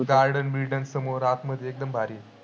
garden-birden समोर आतमध्ये एकदम भारी.